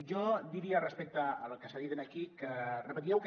jo diria respecte al que s’ha dit aquí que repetíeu que